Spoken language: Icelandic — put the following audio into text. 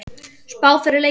Spá fyrir leikinn?